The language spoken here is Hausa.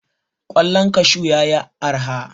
Ƙwallon kashu ya yi araha.